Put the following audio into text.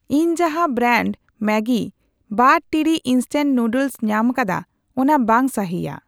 ᱤᱧ ᱡᱟᱦᱟᱸ brand Maggi ᱵᱟᱨ ᱴᱤᱲᱤᱡ ᱤᱱᱥᱴᱮᱞ ᱱᱩᱰᱞᱮᱥ ᱧᱟᱢᱟᱠᱟᱫᱟ ᱚᱱᱟ ᱵᱟᱝ ᱥᱟᱹᱦᱤᱭᱟ ᱾